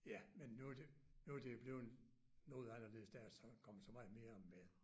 Ja men nu det nu det blevet noget anderledes der er så kommet så meget mere med